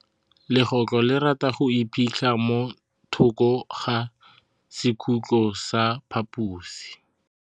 Legôtlô le rata go iphitlha mo thokô ga sekhutlo sa phaposi.